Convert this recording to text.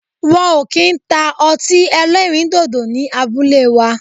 Wọn o ki n ta ọti ẹlẹrindodo ni abule wa